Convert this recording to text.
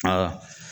Aa